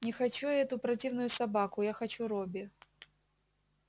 не хочу я эту противную собаку я хочу робби